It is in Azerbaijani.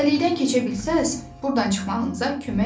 Dəlikdən keçə bilsəz, burdan çıxmağınıza kömək eləyərəm.